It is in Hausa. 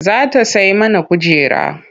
Za ta sai mana kujera.